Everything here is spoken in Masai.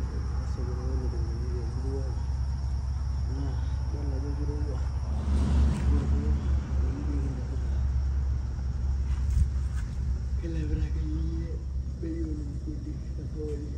Ore na osokoni lolukunguni temurua aai na idol ajo kirowuo kilepita akeyie bei olukunguni tosokoni